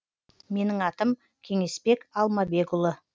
менің атам кеңесбек алмабекұлы